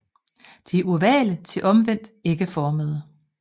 De er ovale til omvendt ægformede